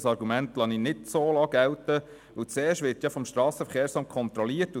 Dieses Argument lasse ich so nicht gelten, weil zuerst vom SVSA kontrolliert wird.